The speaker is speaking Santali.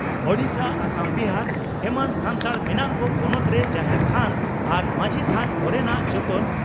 ᱳᱰᱤᱥᱟ ᱟᱥᱟᱢ ᱵᱤᱦᱟᱨ ᱮᱢᱟᱱ ᱥᱟᱱᱛᱟᱲ ᱢᱮᱱᱟᱜ ᱠᱚ ᱯᱚᱱᱚᱛᱨᱮ ᱡᱟᱦᱮᱨ ᱛᱷᱟᱱ ᱟᱨ ᱢᱟᱡᱷᱤ ᱛᱷᱟᱱ ᱠᱚᱨᱮᱱᱟᱜ ᱡᱚᱛᱚᱱ